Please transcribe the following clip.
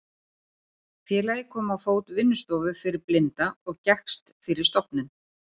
Félagið kom á fót vinnustofu fyrir blinda og gekkst fyrir stofnun